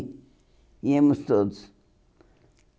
Íamos todos.